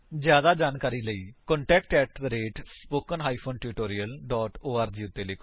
ਜਿਆਦਾ ਜਾਣਕਾਰੀ ਦੇ ਲਈ ਕ੍ਰਿਪਾ contact at spoken hyphen tutorial dot org ਉੱਤੇ ਲਿਖੋ